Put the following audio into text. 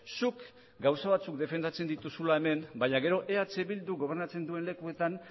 zuk gauza batzuk defendatzen dituzula hemen baina gero eh bildu gobernatzen duen lekuetan